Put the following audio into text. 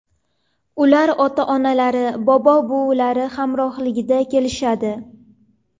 Ular ota-onalari, bobo-buvilari hamrohligida kelishadi.